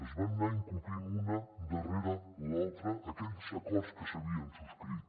es van anar incomplint un darrere l’altre aquells acords que s’havien subscrit